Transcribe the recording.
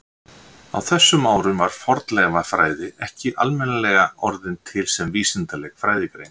Á þessum árum var fornleifafræði ekki almennilega orðin til sem vísindaleg fræðigrein.